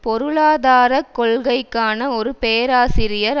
பொருளாதார கொள்கைக்கான ஒரு பேராசிரியர்